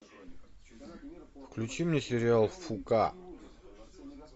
включи мне сериал фуука